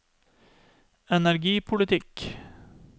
energipolitikk